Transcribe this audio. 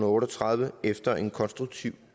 og otte og tredive efter en konstruktiv